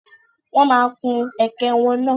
Wọ́n máa kun ẹ̀kẹ́ wọn náà.